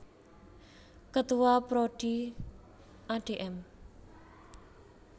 Ketua Prodi Adm